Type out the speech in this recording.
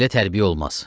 Belə tərbiyə olmaz.